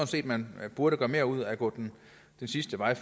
set at man burde gøre mere ud af at gå den sidste vej